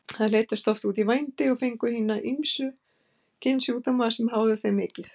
Þær leiddust oft út í vændi og fengu ýmsa kynsjúkdóma sem háðu þeim mikið.